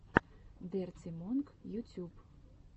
дерти монк ютюб